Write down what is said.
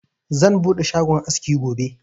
Zan buɗe shagon askin gobe